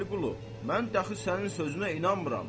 Vəliqulu, mən dəxi sənin sözünə inanmıram.